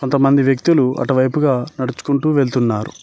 కొంతమంది వ్యక్తులు అటువైపుగా నడుచుకుంటూ వెళుతున్నారు.